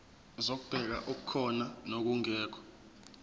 zokubheka okukhona nokungekho